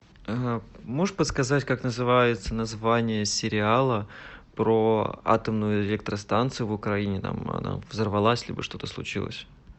можешь подсказать как называется название сериала про атомную электростанцию в украине там она взорвалась либо что то случилось